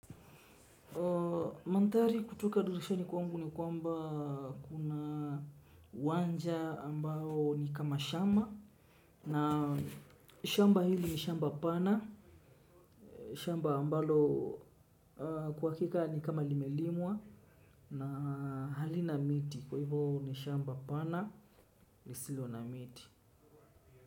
Mandhari kutoka dirishani kwangu ni kwamba kuna uwanja ambao ni kama shamba na shamba hili ni shamba pana, shamba ambalo kwa hakika ni kama limelimwa na halina miti kwa hivo ni shamba pana lisilo na miti.